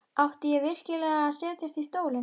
Átti ég virkilega að setjast í stólinn?